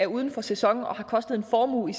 uden for sæson og har kostet en formue i